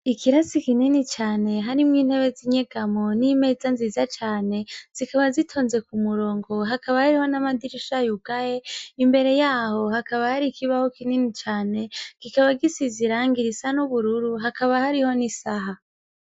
Ikiratsi kinini cane harimwo ni ntebe zi nyegamwo ni meza nziza cane zikaba zitonze kumurongo hakaba hariyo namadirisha yugaye, imbere yaho hakaba hari ikibaho kinini cane gikaba gisizwe irangi risa n'ubururu hakaba hariyo n'isaha